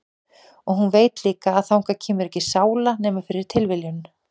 Og hún veit líka að þangað kemur ekki sála nema fyrir tilviljun.